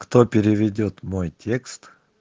кто переведёт мой текст